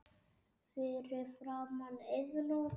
Fyrir framan Iðnó.